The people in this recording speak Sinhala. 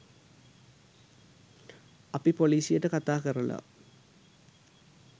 අපි පොලිසියට කතා කරල